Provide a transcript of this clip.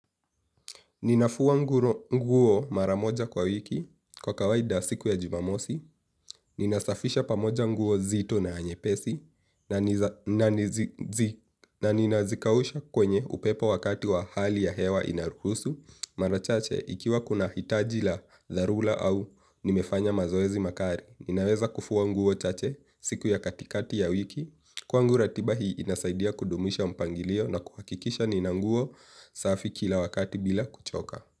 Ninafuwa nguo mara moja kwa wiki kwa kawaida siku ya Jumamosi, ninasafisha pamoja nguo nzito na nyepesi na nina zikausha kwenye upepo wakati wa hali ya hewa inaruhusu, mara chache ikiwa kuna hitaji la tharula au nimefanya mazoezi makari. Ninaweza kufua nguo chache siku ya katikati ya wiki. Kwangu ratiba hii inasaidia kudumisha mpangilio na kuhakikisha nina nguo safi kila wakati bila kuchoka.